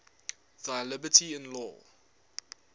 thy liberty in law